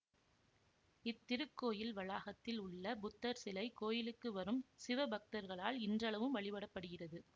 இத்திருக்கோயில் வளாகத்தில் உள்ள புத்தர் சிலை கோயிலுக்கு வரும் சிவபக்தர்களால் இன்றளவும் வழிபடப்படுகிறது